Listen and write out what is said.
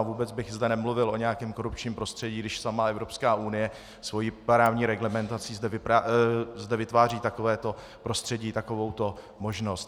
A vůbec bych zde nemluvil o nějakém korupčním prostředí, když sama Evropská unie svou právní reglementací zde vytváří takovéto prostředí, takovouto možnost.